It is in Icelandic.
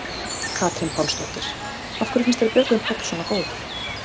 Katrín Pálsdóttir: Af hverju finnst þér Björgvin Páll svona góður?